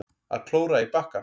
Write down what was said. Að klóra í bakkann